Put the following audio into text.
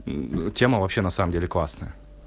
тема вообще на самом деле классная